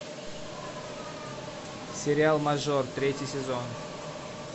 сериал мажор третий сезон